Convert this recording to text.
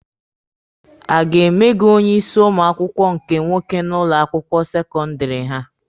A ga-eme gị onye isi ụmụ akwụkwọ nke nwoke n'ụlọ akwụkwọ sekọndịrị ha?